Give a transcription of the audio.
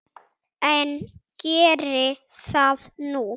En geri það nú.